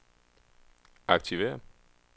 aktiver